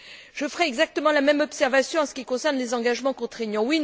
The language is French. Je ferai exactement la même observation en ce qui concerne les engagements contraignants.